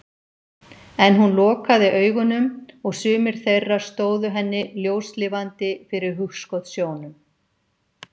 En hún lokaði augunum og sumir þeirra stóðu henni ljóslifandi fyrir hugskotssjónum.